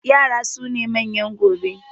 Yara su ne manyan gobe